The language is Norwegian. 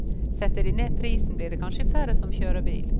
Setter de ned prisen, blir det kanskje færre som kjører bil.